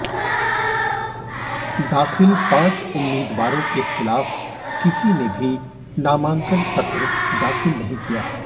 दाखिल पांच उम्मीदवारों के खिलाफ किसी ने भी नामांकन पत्र दाखिल नहीं किया